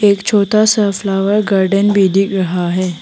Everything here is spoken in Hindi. एक छोटा सा फ्लावर गार्डन भी दिख रहा है।